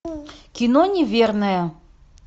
кино неверная